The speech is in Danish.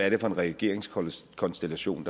en regeringskonstellation